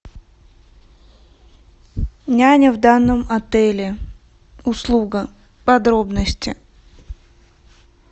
няня в данном отеле услуга подробности